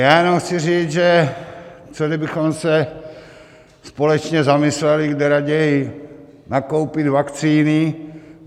Já jenom chci říct, že co kdybychom se společně zamysleli, kde raději nakoupit vakcíny.